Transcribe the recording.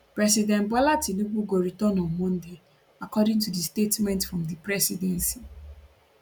president bola tinubu go return on monday according to statement from di presidency